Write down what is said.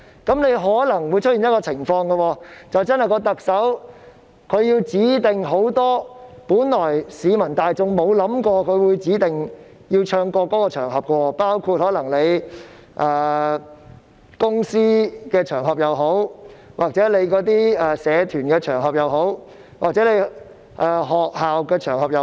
這樣可能會出現一種情況，就是特首指定了很多的場合是市民大眾沒想過要唱國歌的，包括公司場合、社團場合或學校場合。